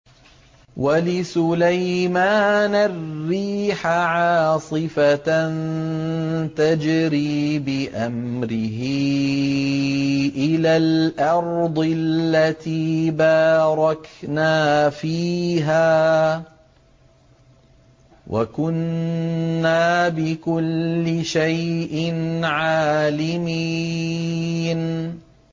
وَلِسُلَيْمَانَ الرِّيحَ عَاصِفَةً تَجْرِي بِأَمْرِهِ إِلَى الْأَرْضِ الَّتِي بَارَكْنَا فِيهَا ۚ وَكُنَّا بِكُلِّ شَيْءٍ عَالِمِينَ